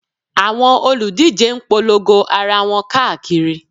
Àwọn olùdíje ń polongo ara wọn káàkiri